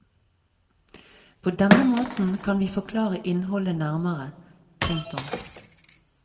På denne måten kan vi forklare innholdet nærmere. punktum